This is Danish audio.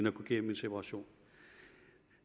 at gå gennem en separation